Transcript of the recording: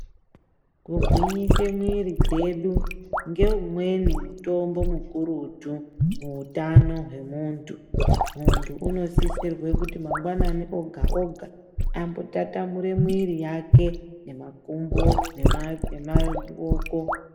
Kugwinyise mwiri kwedu, ngeumweni mutombo mukurutu muutano hwemuntu. Muntu unosisirwe kuti mangwanani oga-oga ambotatamure mwiri wake nemakumbo nemaoko.